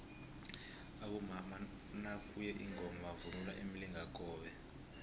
abomama nakuye ingoma bavunula imilingakobe